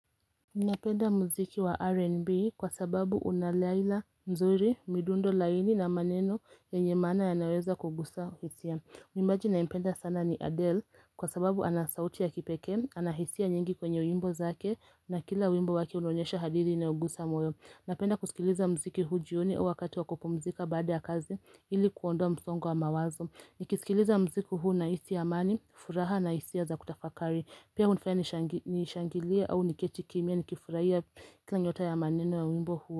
Napenda muziki wa R&B kwa sababu unaladha mzuri midundo laini na maneno ye nye maana yanayoweza kugusa hisia Mwimbaji ninampenda sana ni Adele kwa sababu anasauti ya kipekee, anahisia nyingi kwenye wimbo zake na kila wimbo wake unaonyesha hadithi inayo gusa moyo Napenda kusikiliza muziki huu jioni au wakati wa kupumzika baada ya kazi ili kuondoa msongo wa mawazo nikisikiliza muziki huu ninahisi amani, furaha na hisia za kutafakari Pia hunifanya nishangilie au niketi kimya nikifurahia kila nyota ya maneno ya wimbo huo.